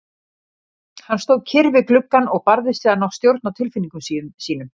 Hann stóð kyrr við gluggann og barðist við að ná stjórn á tilfinningum sínum.